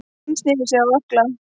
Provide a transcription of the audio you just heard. Hann snéri sig á ökkla.